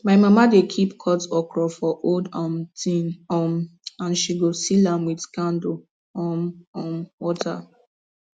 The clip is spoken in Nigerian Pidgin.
my mama dey keep cut okra for old um tin um and she go seal am with candle um um water